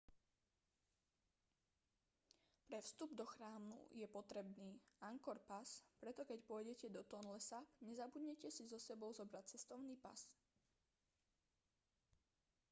pre vstup do chrámu je potrebný angkor pass preto keď pôjdete do tonle sap nezabudnite si so sebou zobrať cestovný pas